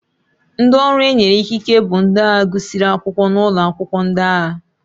Ndị ọrụ e nyere ikike bụ ndị agha gụsịrị akwụkwọ n'ụlọ akwụkwọ ndị agha.